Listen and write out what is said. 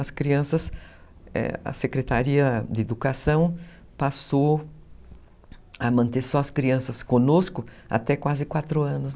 As crianças, a Secretaria de Educação passou a manter só as crianças conosco até quase quatro anos.